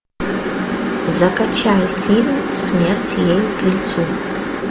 закачай фильм смерть ей к лицу